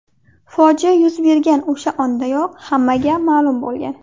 Fojia yuz bergani o‘sha ondayoq hammaga ma’lum bo‘lgan.